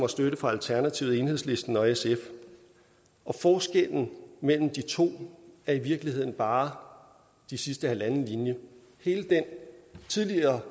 støtte fra alternativet enhedslisten og sf forskellen mellem de to er i virkeligheden bare den sidste halvanden linje hele det tidligere